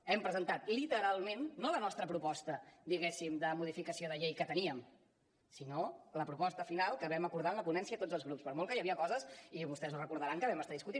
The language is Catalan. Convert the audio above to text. hem presentat literalment no la nostra proposta diguéssim de modificació de llei que teníem sinó la proposta final que vam acordar en la ponència tots els grups per molt que hi havia coses i vostès ho deuen recordar que vam estar discutint